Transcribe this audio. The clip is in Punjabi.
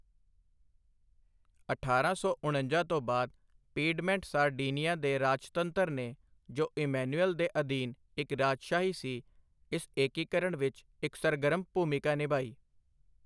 ਅਠਾਰਾਂ ਸੌ ਉਣੰਜਾ ਤੋਂ ਬਾਦ ਪੀਡਮੈਂਟ ਸਾਰਡੀਨੀਆ ਦੇ ਰਾਜਤੰਤਰ ਨੇ ਜੋ ਇੱਮਾਨੁਏਲ ਦੇ ਅਧੀਨ ਇਕ ਰਾਜਸ਼ਾਹੀ ਸੀ ਇਸ ਏਕੀਕਰਣ ਵਿਚ ਇਕ ਸਰਗਰਮ ਭੂਮਿਕਾ ਨਿਭਾਈ।